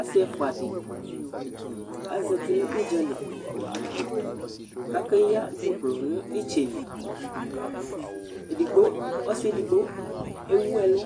Asi ɛfʋa ɖi azɛti ŋu ʋdzali kʋ akeyi dzʋklɔ ŋu itsɛli Ɔsi ɛɖigbo ɛwu ɛlu